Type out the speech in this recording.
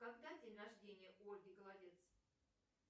когда день рождения у ольги голодец